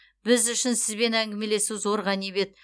біз үшін сізбен әңгімелесу зор ғанибет